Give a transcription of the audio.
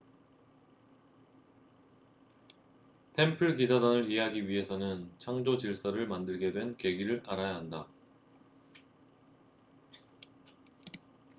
템플 기사단을 이해하기 위해서는 창조 질서를 만들게 된 계기를 알아야 한다